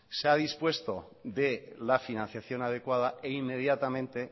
se ha dispuesto de la financiación adecuada e inmediatamente